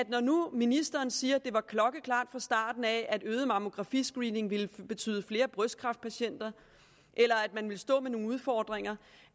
når nu ministeren siger at det var klokkeklart fra starten at øget mammografiscreening ville betyde flere brystkræftpatienter eller at man ville stå med nogle udfordringer